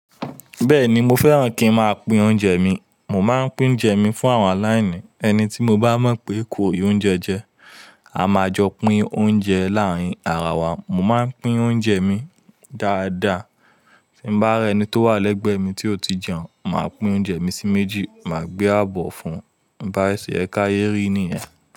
Bẹ́ẹ̀ni mo fẹ́ràn kí ń máa pín oúnjẹ mi. Mò máa ń pín oúnjẹ mi fún àwọn aláìní, ẹni tí mo bá mọ̀ pé kò rí oúnjẹ jẹ. A máa jọ pín oúnjẹ láàárín ara wa. Mo máa ń pín oúnjẹ mi dáadáa. Tí bá re eni tó wá légbèé mi tí o tí jeun, máa pín oúnje mi sí méjì máa gbé àbò fún bá ṣe é, ká yé rí nìyẹn.